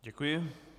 Děkuji.